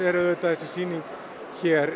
er auðvitað þessi sýning hér